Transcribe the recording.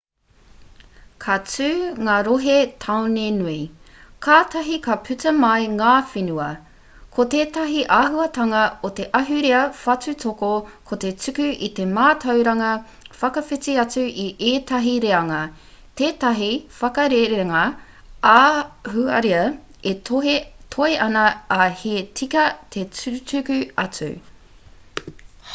ka tū ngā rohe-tāone nui kātahi ka puta mai ngā whenua ko tētahi āhuatanga o te ahurea whatutoto ko te tuku i te mātauranga whakawhiti atu i ētahi reanga tētahi whakarerenga ā-ahurea e toe ana ā he tika te tukutuku atu